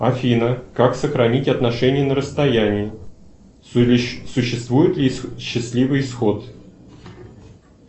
афина как сохранить отношения на расстоянии существует ли счастливый исход